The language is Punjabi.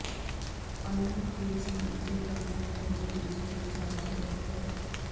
ਅਨੂਪ ਕੇਸਵਾਨ ਅਤੇ ਡਰਾਮਾ ਕਲੱਬ ਦੇ ਟੀਚਰ ਇੰਚਾਰਜ ਡਾ